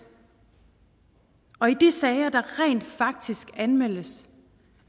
og i de sager der rent faktisk anmeldes